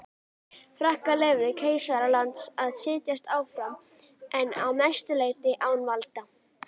Frakkar leyfðu keisara landsins að sitja áfram en að mestu leyti án valda.